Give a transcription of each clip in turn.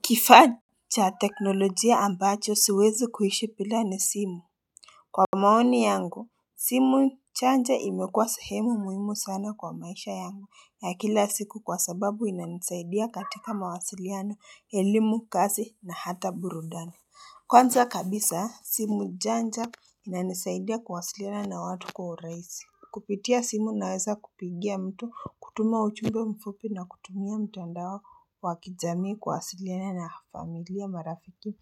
Kifaa cha teknolojia ambacho siwezi kuishi bil.a ni simu Kwa maoni yangu, simu imekuwa sehemu muhimu sana kwa maisha yangu ya kila siku kwa sababu inanisaidia katika mawasiliano, elimu, kazi na hata burudani Kwanza kabisa, simu inanisaidia kuwasiliana na watu kwa urahisi Kupitia simu naweza kupigia mtu kutuma ujumbe mfupi na kutumia mtandao wakijamii kwasiliana na familia marafiki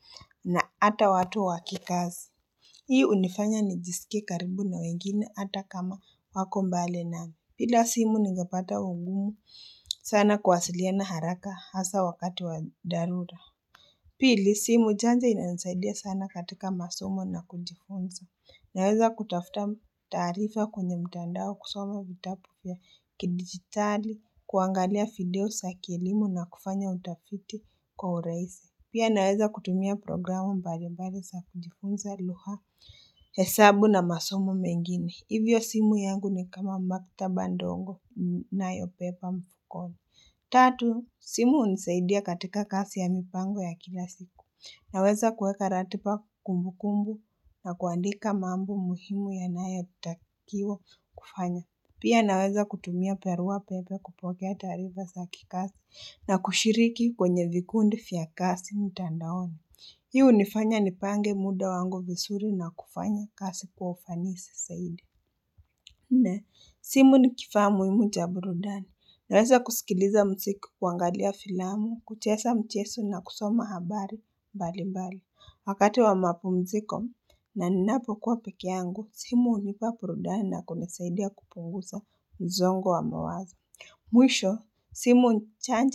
na hata watu wakikazi. Hii hunifanya nijisike karibu na wengine ata kama wako mbali nami. Bila simu ningepata ungumu sana kwasiliana haraka hasa wakati wadharura Pili, simu janja inanisaidia sana katika masomo na kujifunza. Naweza kutafuta taarifa kwenye mtandao kusoma vitabu vya kidigitali, kuangalia video za kielimu na kufanya utafiti kwa urahisi Pia naweza kutumia programu mbali mbali za kujifunza lugha, hesabu na masumo mengine. Hivyo simu yangu ni kama maktaba ndogo ninayobeba mfukoni Tatu, simu hunisaidia katika kazi ya mipango ya kila siku. Naweza kuweka ratiba kumbu kumbu na kuandika mambo muhimu yayotakiwa Pia naweza kutumia barua pepe kupokea taarifa zakikazi na kushiriki kwenye vikundi vya kazi mitandaoni. Hii hunifanya nipange muda wangu vizuri na kufanya kazi kwa ufanisi zaidi na, simu ni kifaa muhimu cha burudani. Naweza kusikiliza mziki kuangalia filamu, kucheza michezo na kusoma habari mbalimbali. Wakati wa mapumziko na ninapo kuwa peke yangu, simu hunipa burudani na kunisaidia kupunguza mzongo wa mawazo Mwisho, simu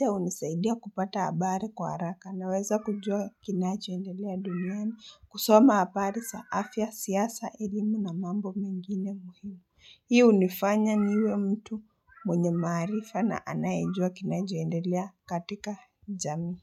hunisaidia I kupata habari kwa haraka. Naweza kujua kinachoendelea duniani kusoma habari za afya siasa elimu na mambo mengine muhimu. Hiyo hunifanya niwe mtu mwenye maarifa na anayejua kinachoendelea katika jamii.